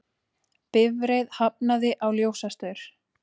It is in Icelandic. Bifreið hafnaði á ljósastaur